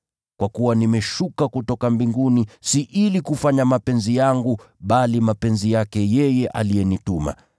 Kwa kuwa nimeshuka kutoka mbinguni si ili kufanya mapenzi yangu, bali mapenzi yake yeye aliyenituma.